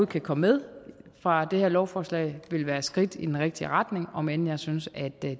kan komme med fra det her lovforslag vil være skridt i den rigtige retning om end jeg synes at det